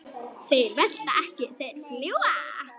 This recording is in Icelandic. Þeir velta ekki, þeir fljúga.